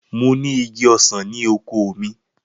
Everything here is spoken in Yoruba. Mo ni igi osan ni oko mi